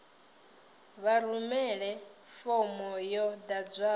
vha rumele fomo yo ḓadzwaho